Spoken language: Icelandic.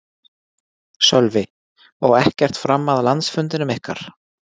Sölvi: Og ekkert fram að landsfundinum ykkar?